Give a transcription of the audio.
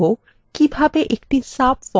একটি subform তৈরী করা যায়